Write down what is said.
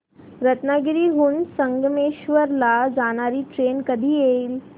रत्नागिरी हून संगमेश्वर ला जाणारी ट्रेन कधी येईल